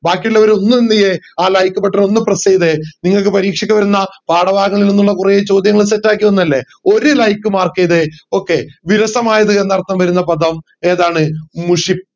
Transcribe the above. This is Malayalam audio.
ബാക്കിയിള്ളവർ ഒന്ന് എന്ത് ചെയ്യേ ആ like button ഒന്ന് press ചെയ്തേ നിങ്ങൾക് പരീക്ഷയ്ക്ക് വരുന്ന പാഠഭാഗങ്ങളിലെ കൊറേ ചോദ്യങ്ങൾ set ആക്കി വന്നേ അല്ലെ ഒര like mark ചെയ്തേ okay വിരസമയത് എന്നർത്ഥം വരുന്ന പദം ഏതാണ് മുഷി